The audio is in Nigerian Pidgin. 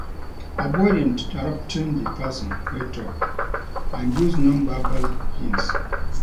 Avoid interrupting di person wey talk and use non-verbal hints